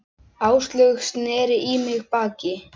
Áslaug sneri í mig baki.